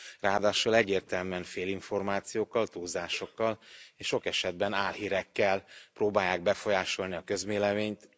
Ráadásul egyértelműen félinformációkkal, túlzásokkal és sok esetben álhírekkel próbálják befolyásolni a közvéleményt.